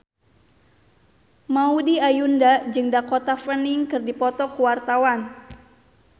Maudy Ayunda jeung Dakota Fanning keur dipoto ku wartawan